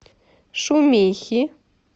шумихи